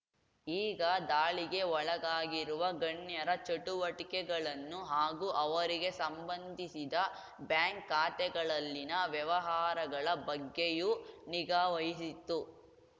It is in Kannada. ಈಗ ದಾಳಿಗೆ ಒಳಗಾಗಿರುವ ಗಣ್ಯರ ಚಟುವಟಿಕೆಗಳನ್ನು ಹಾಗೂ ಅವರಿಗೆ ಸಂಬಂಧಿಸಿದ ಬ್ಯಾಂಕ್‌ ಖಾತೆಗಳಲ್ಲಿನ ವ್ಯವಹಾರಗಳ ಬಗ್ಗೆಯೂ ನಿಗಾ ವಹಿಸಿತ್ತು